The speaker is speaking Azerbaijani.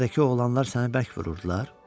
küçədəki oğlanlar səni bərk vururdular?